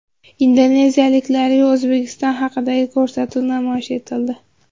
Indoneziyaliklarga O‘zbekiston haqidagi ko‘rsatuv namoyish etildi.